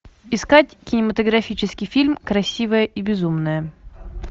искать кинематографический фильм красивая и безумная